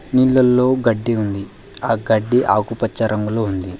నీళ్లలో గడ్డి ఉంది ఆ గడ్డి ఆకుపచ్చ రంగులో ఉంది.